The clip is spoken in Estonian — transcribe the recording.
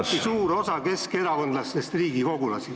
... samuti suur osa keskerakondlastest riigikogulasi.